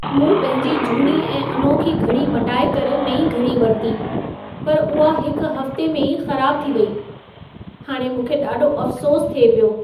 मूं पंहिंजी झूनी ऐं अनोखी घड़ी मटाए करे नईं घड़ी वरिती, पर उहा हिकु हफ़्ते में ई ख़राब थी वेई। हाणे मूंखे ॾाढो अफ़सोस थिए पियो।